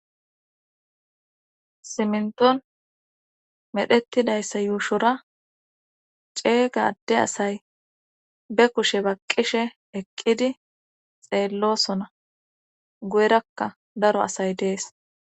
Simnton medhettidayssa yuushora ceeygadde asay be kushe baqqishe eqqidi xeellosona guyerakka daro asay dees.